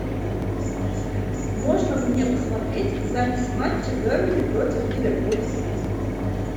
можно мне посмотреть запись матча бернли против ливерпуль